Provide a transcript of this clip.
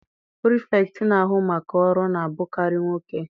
Pirifektị na-ahu maka ọrụ na-abụkarị nwoke.